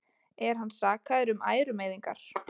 Er hann sakaður um ærumeiðingar